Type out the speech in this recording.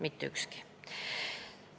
Mitte ükski!